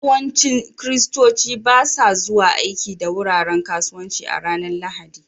Yawancin Kiristoci ba sa zuwa aiki da wuraren kasuwanci a ranar Lahadi